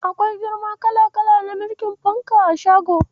Akwai girma kala-kala na mirƙin fanka a shagon.